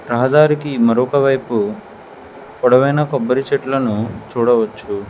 రహదారికి మరొకవైపు పొడవైన కొబ్బరి చెట్లను చూడవచ్చు.